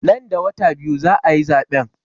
Nan da wata biyu za a yi zaɓen.